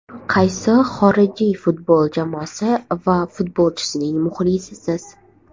Qaysi xorijiy futbol jamoasi va futbolchisining muxlisisiz?